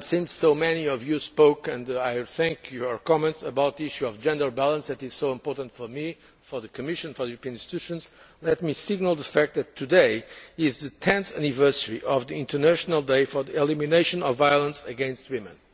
since so many of you spoke and I thank you for your comments on the issue of gender balance, which is so important for me, for the Commission and for the European institutions, let me signal the fact that today is the 10th anniversary of the international day for the elimination of violence against